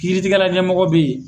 K iritigɛla ɲɛmɔgɔ bɛ yen.